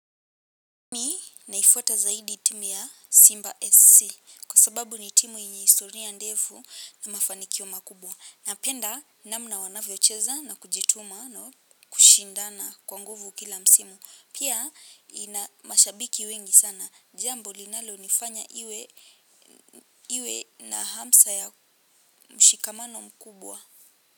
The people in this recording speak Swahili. Mi naifuata zaidi timu ya Simba SC Kwa sababu ni timu yenye historia ndefu na mafanikio makubwa napenda namna wanavyocheza na kujituma na kushindana kwa nguvu kila msimu. Pia ina mashabiki wengi sana. Jambo linalo nifanya iwe na hamsa ya mshikamano mkubwa.